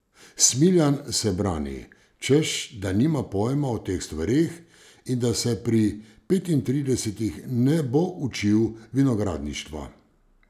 Smiljan se brani, češ da nima pojma o teh stvareh in da se pri petintridesetih ne bo učil vinogradništva.